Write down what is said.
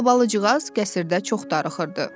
Albalıcığaz qəsrdə çox darıxırdı.